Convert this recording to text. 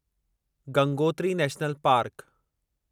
Gangotri national park